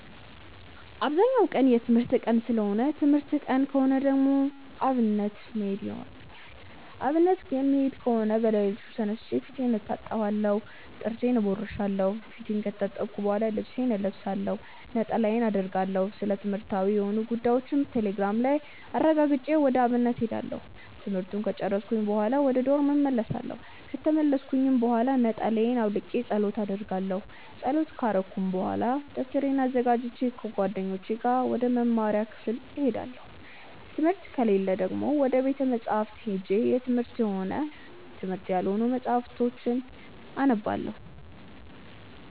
አብዛኛው ቀን የትምህርት ቀን ሰለሆነ ትምህርት ቀን ከሆነ ደግሞ አብነት መሄድ ይኖርብኛል። አብነት የምሄድ ከሆነ በለሊቱ ተነስቼ ፊቴን እታጠባለሁ ጥርሴን እቦርሻለው። ፊቴን ከታጠብኩ በሆላ ልብሴን እለብሳለሁ፣ ነጠላዬን አረጋለሁ፣ ስለትምህርትዊ የሆኑ ጉዳዮችን ቴሌግራም ላይ አረጋግጬ ወደ አብነት እሄዳለሁ። ትምህርቱን ከጨርስኩኝ በሆላ ወደ ዶርም እመልሳለው። ከተመለስኩኝ ብሆላ ነጠላየን አውልቄ ፀሎት አረጋለው። ፀሎት ከረኩኝ በሆላ ደብተሬን አዘጋጅቼ ከጓደኞቼ ጋር ወደ መምሪያ ክፍል እሄዳለው። ትምህርት ከሌለ ደግሞ ወደ ቤተ መፅሀፍት ሄጄ የትምህርትም ሆነ የትምህርታዊ ያልሆኑ መፅሀፍትን አነባለው።